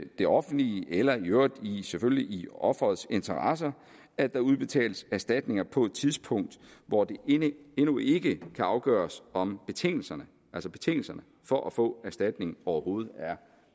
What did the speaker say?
det offentliges eller i øvrigt selvfølgelig offerets interesse at der udbetales erstatninger på et tidspunkt hvor det endnu ikke kan afgøres om betingelserne betingelserne for at få erstatning overhovedet